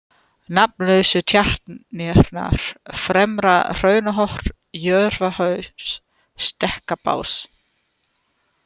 Nafnlausu tjarnirnar, Fremra-Hraunhorn, Jörfahaus, Stekkabás